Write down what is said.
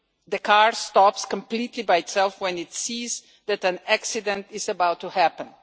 The car stops completely by itself when it sees that an accident is about to happen.